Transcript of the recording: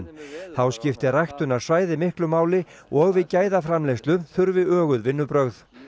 þá skipti ræktunarsvæði miklu máli og við gæðaframleiðslu þurfi öguð vinnubrögð